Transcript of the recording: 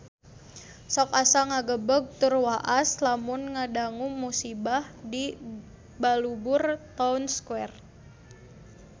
Sok asa ngagebeg tur waas lamun ngadangu musibah di Balubur Town Square